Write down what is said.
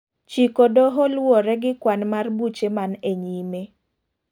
chiko doho luwore gi kwan mar buche man e nyime.